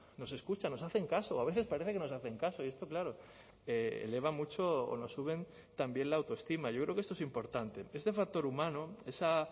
nos escuchan nos hacen caso o a veces parece que nos hacen caso y esto claro eleva mucho o no suben también la autoestima yo creo que esto es importante este factor humano esa